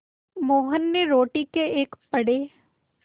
मोहन ने रोटी के एक बड़े